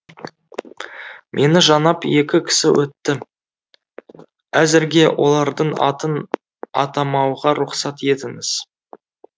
мені жанап екі кісі өтті әзірге олардың атын атамауға рұқсат етіңіз